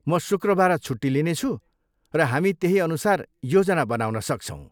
म शुक्रबार छुट्टी लिनेछु, र हामी त्यही अनुसार योजना बनाउन सक्छौँ।